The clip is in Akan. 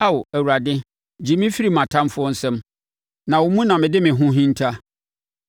Ao Awurade gye me firi mʼatamfoɔ nsam, na wo mu na mede me ho hinta.